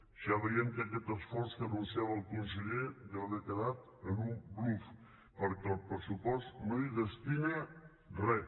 ja veiem que aquest esforç que anunciava el conseller deu haver quedat en un bluf perquè el pressupost no hi destina res